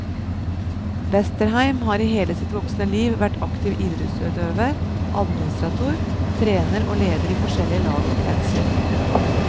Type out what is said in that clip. Westerheim har i hele sitt voksne liv vært aktiv idrettsutøver, administrator, trener og leder i forskjellige lag og kretser.